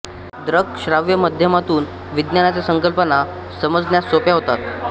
दृक श्राव्य माध्यमातून विज्ञानाच्या संकल्पना समजण्यास सोप्या होतात